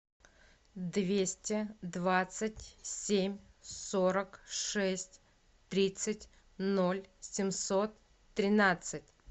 двести двадцать семь сорок шесть тридцать ноль семьсот тринадцать